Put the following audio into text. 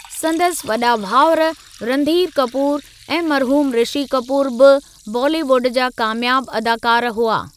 संदसि वॾा भाउर रंधीर कपूरु ऐं मरहूमु रिषी कपूरु बि बॉलीवुड जा कामयाबु अदाकार हुआ।